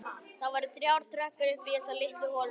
Það voru þrjár tröppur upp í þessa litlu holu.